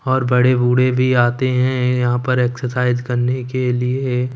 और बड़े बूढ़े भी आते हैं यहां पर एक्सरसाइज करने के लिए--